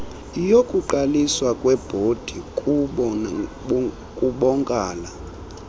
yokuqaliswa kwebhodi kubonkala